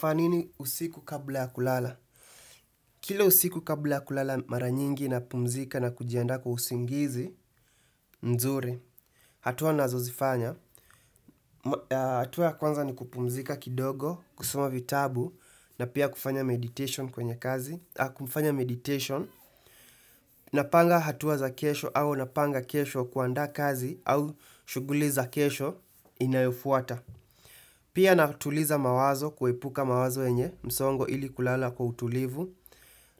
Fanya nini usiku kabla ya kulala? Kila usiku kabla ya kulala mara nyingi napumzika na kujiandaa kwa usingizi, mzuri. Hatua nazozifanya. Hatua ya kwanza ni kupumzika kidogo, kusoma vitabu, na pia kufanya meditation kwenye kazi. Kufanya meditation, napanga hatua za kesho au napanga kesho kuandaa kazi au shughuli za kesho inayofuata. Pia natuliza mawazo, kuepuka mawazo yenye, msongo ili kulala kwa utulivu.